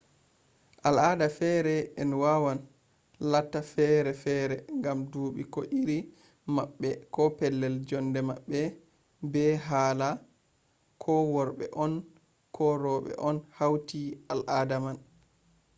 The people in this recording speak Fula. al ada fere en wawan latta fere fere ngam duuɓi ko iri maɓɓe ko pellel jonde maɓɓe be hala ko worɓe on ko roɓe on hauti al ada man